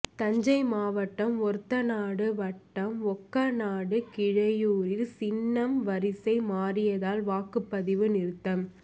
தஞ்சை மாவட்டம் ஒரத்தநாடு வட்டம் ஒக்கநாடு கீழையூரில் சின்னம் வரிசை மாறியதால் வாக்குப்பதிவு நிறுத்தம்